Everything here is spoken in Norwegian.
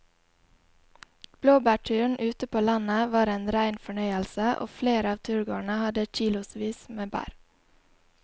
Blåbærturen ute på landet var en rein fornøyelse og flere av turgåerene hadde kilosvis med bær.